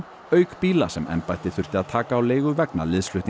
auk bíla sem embættið þurfti að taka á leigu vegna